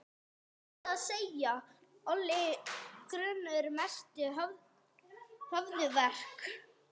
Satt að segja olli grunnurinn mestum höfuðverk.